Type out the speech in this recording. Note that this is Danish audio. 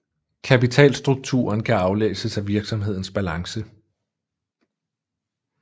Kapitalstrukturen kan aflæses af virksomhedens balance